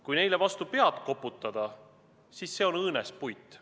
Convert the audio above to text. Kui neile vastu pead koputada, siis see on õõnespuit.